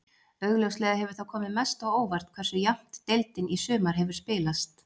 Augljóslega hefur það komið mest á óvart hversu jafnt deildin í sumar hefur spilast.